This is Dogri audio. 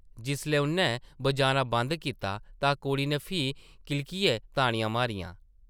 जिसलै उʼन्नै बजाना बंद कीता तां कुड़ी नै फ्ही किलकियै ताड़ियां मारियां ।